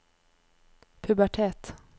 pubertet